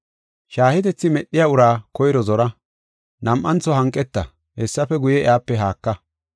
Shaahetethi medhiya uraa koyro zora; nam7antho hanqeta, hessafe guye, iyape haaka.